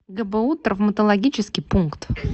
гбу травматологический пункт